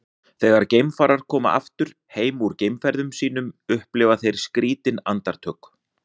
þegar geimfarar koma aftur heim úr geimferðum sínum upplifa þeir skrýtin andartök